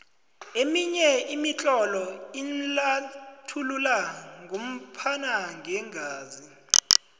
eminye imitlolo inlathulula ngophana ngeengazi